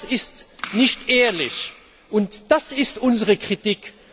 Das ist nicht ehrlich und das ist unsere Kritik!